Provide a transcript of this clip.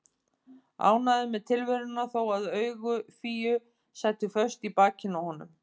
Ánægður með tilveruna þó að augu Fíu sætu föst í bakinu á honum.